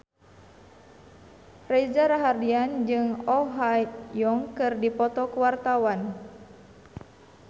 Reza Rahardian jeung Oh Ha Young keur dipoto ku wartawan